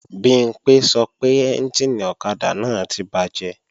Bimpé sọ pé ẹ́njìnì ọ̀kadà náà ti bàjẹ́